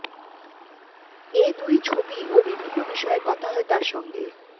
এ দুই ছবি ও বিভিন্ন বিষয়ে কথা হয় তার সঙ্গে